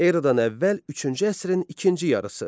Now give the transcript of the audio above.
Eradan əvvəl üçüncü əsrin ikinci yarısı.